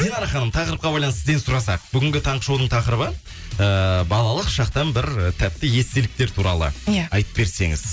динара ханым тақырыпқа байланысты сізден сұрасақ бүгінгі таңғы шоудың тақырыбы ыыы балалық шақтан бір тәтті естеліктер туралы иә айтып берсеңіз